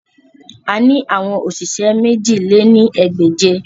A ni awọn oṣiṣẹ mèjì lé ní ẹgbẹ́je